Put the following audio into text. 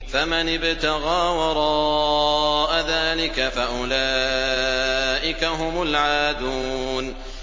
فَمَنِ ابْتَغَىٰ وَرَاءَ ذَٰلِكَ فَأُولَٰئِكَ هُمُ الْعَادُونَ